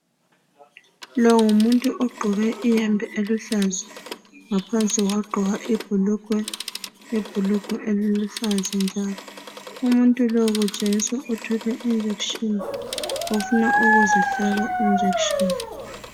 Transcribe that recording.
Lo ngumuntu ogqoke ihembe eluhlaza ngaphansi wagqoka ibhulugwe eliluhlaza njalo. Umuntu lo kutshengisa ukuthi uthwele iinjekisheni. Ufuna ukuzihlaba iinjekisheni.